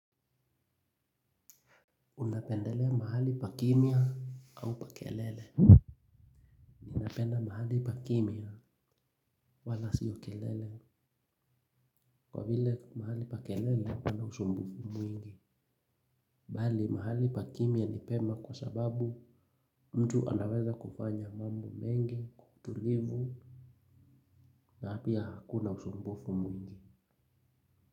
Unapendelea mahali pa kimya au pa kelele napenda mahali pa kimya wala sio kelele. Kwa vile mahali pa kelele huwa na usumbufu mwingi. Bali mahali pa kimya ni pema kwa sababu mtu anaweza kufanya mambo mengi kwa utulivu. Na pia hakuna usumbufu mwingi.